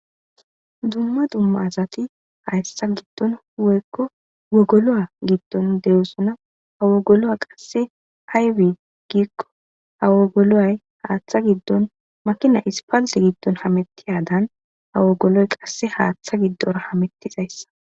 Dumma dumma asati hayssa giddon woykko wogolo giddon de'osona. Ha wogolo qasse aybe giikko ha wogolo haaththa giddon makina ispalte giddon hamettiyadan ha wogoloy qasse haaththa giddora hamettizayssa.